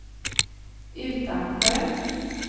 Utansjö